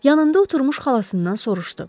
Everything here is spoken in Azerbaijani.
Yanında oturmuş xalasından soruşdu.